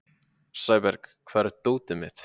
Sæberg, hvar er dótið mitt?